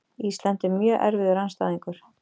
Ísland er mjög erfiður andstæðingur.